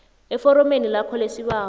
eforomeni lakho lesibawo